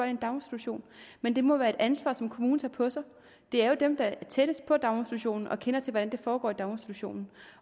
i en daginstitution men det må være et ansvar som kommunen tager på sig det er jo dem der er tættest på daginstitutionerne og kender til hvordan det foregår i daginstitutionerne